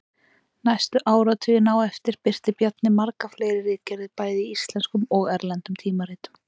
Næstu áratugina á eftir birti Bjarni margar fleiri ritgerðir bæði í íslenskum og erlendum tímaritum.